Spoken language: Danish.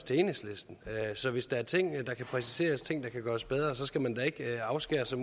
til enhedslisten så hvis der er ting der kan præciseres og ting der kan gøres bedre skal man da ikke afskære sig